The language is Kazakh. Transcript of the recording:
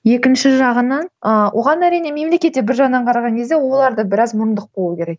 екінші жағынан ыыы оған әрине мемлекет те бір жағынан қараған кезде олар да біраз мұрындық болу керек